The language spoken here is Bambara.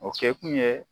O kɛkun ye